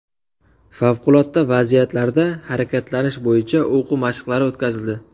Favqulodda vaziyatlarda harakatlanish bo‘yicha o‘quv mashqlari o‘tkazildi.